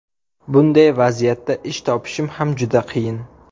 Bunday vaziyatda ish topishim ham juda qiyin.